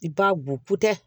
I b'a bo potɛ